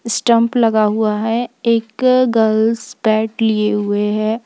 Stump लगा हुआ है एक गर्ल्स बैट लिए हुए है।